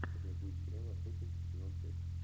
у тебя будет сериал охотник сезон пять